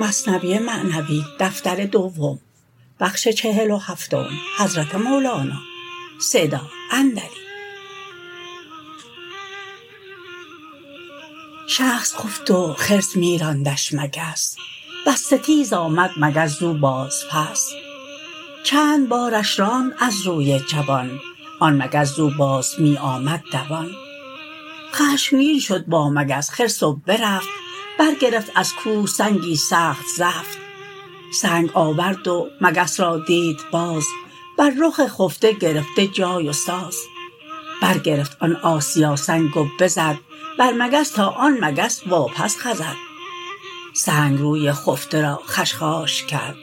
شخص خفت و خرس می راندش مگس وز ستیز آمد مگس زو باز پس چند بارش راند از روی جوان آن مگس زو باز می آمد دوان خشمگین شد با مگس خرس و برفت بر گرفت از کوه سنگی سخت زفت سنگ آورد و مگس را دید باز بر رخ خفته گرفته جای و ساز بر گرفت آن آسیا سنگ و بزد بر مگس تا آن مگس وا پس خزد سنگ روی خفته را خشخاش کرد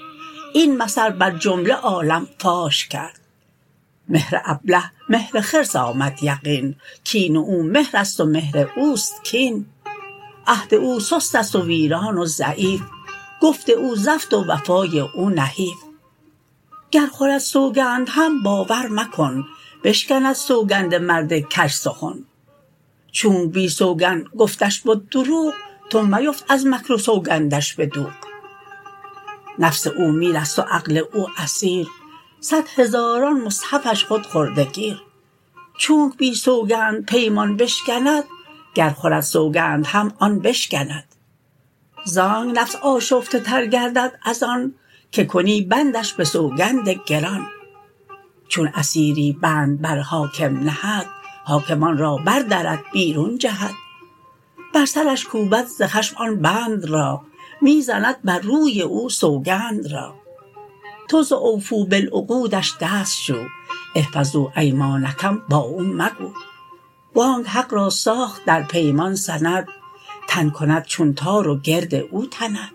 این مثل بر جمله عالم فاش کرد مهر ابله مهر خرس آمد یقین کین او مهرست و مهر اوست کین عهد او سستست و ویران و ضعیف گفت او زفت و وفای او نحیف گر خورد سوگند هم باور مکن بشکند سوگند مرد کژسخن چونک بی سوگند گفتش بد دروغ تو میفت از مکر و سوگندش به دوغ نفس او میرست و عقل او اسیر صد هزاران مصحفش خود خورده گیر چونک بی سوگند پیمان بشکند گر خورد سوگند هم آن بشکند زانک نفس آشفته تر گردد از آن که کنی بندش به سوگند گران چون اسیری بند بر حاکم نهد حاکم آن را بر درد بیرون جهد بر سرش کوبد ز خشم آن بند را می زند بر روی او سوگند را تو ز اوفوا بالعقودش دست شو احفظوا ایمانکم با او مگو وانک حق را ساخت در پیمان سند تن کند چون تار و گرد او تند